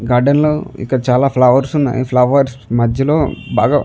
garden లో ఇక్కడ flowers ఉన్నాయి ఈ ఫ్లవర్స్ మధ్యలో బాగా --